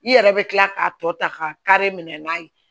I yɛrɛ bɛ kila k'a tɔ ta ka kari minɛ n'a ye